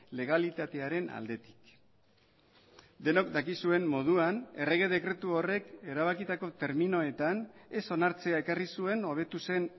legalitatearen aldetik denok dakizuen moduan errege dekretu horrek erabakitako terminoetan ez onartzea ekarri zuen hobetu zen